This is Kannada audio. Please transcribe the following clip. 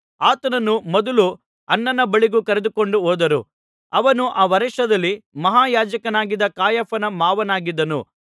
ಆತನನ್ನು ಮೊದಲು ಅನ್ನನ ಬಳಿಗೆ ಕರೆದುಕೊಂಡು ಹೋದರು ಅವನು ಆ ವರ್ಷದಲ್ಲಿ ಮಹಾಯಾಜಕನಾಗಿದ್ದ ಕಾಯಫನ ಮಾವನಾಗಿದ್ದನು